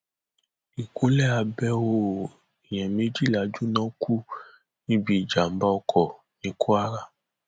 ìkúnlẹ abẹọ o èèyàn méjìlá jóná kú níbi ìjàmbá oko ní kwara